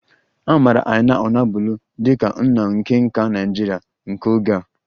A maara Aina onabolu dị ka nna nke nka Naịjirịa nke oge a